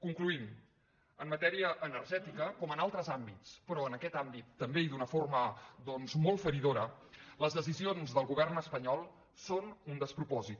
concloent en matèria energètica com en altres àm·bits però en aquest àmbit també i d’una forma molt feridora les decisions del govern espanyol són un despropòsit